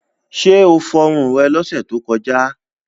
Ṣé o fọrun rẹ lọ́sẹ̀ tó kọjá?